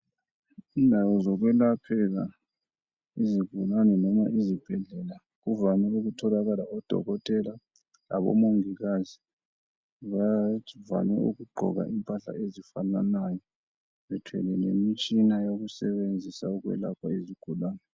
Indawo zokwelaphela, izigulane noma izibhedlela. Kuvame ukutholakala odokotela labomongikazi . Bavame ukugqoka impahla ezifananayo. Bethwele lemitshina, yokusebenzisa ukwelapha izigulane.